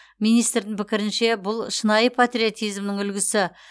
министрдің пікірінше бұл шынайы патриотизмнің үлгісі